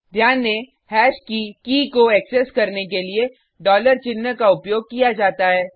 ध्यान दें हैश की की को एक्सेस करने के लिए डॉलर चिन्ह का उपयोग किया जाता है